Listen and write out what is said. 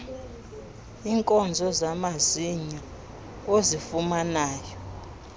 iinkonzo zamazinyo ozifumanayo